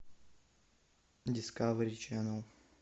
дискавери ченал